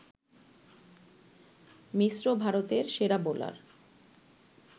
মিশ্র ভারতের সেরা বোলার